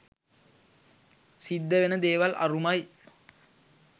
සිද්ධ වෙන දේවල් අරුමයි